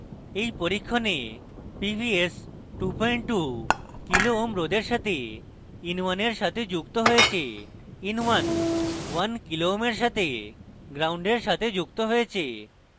in পরীক্ষণে pvs 22 kω kilo ohms রোধের সাথে in1 in সাথে যুক্ত হয়েছে in11kω kilo ohms in সাথে ground gnd in সাথে যুক্ত হয়েছে